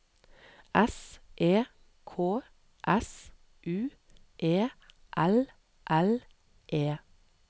S E K S U E L L E